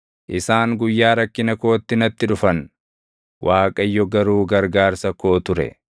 Isaan guyyaa rakkina kootti natti dhufan; Waaqayyo garuu gargaarsa koo ture.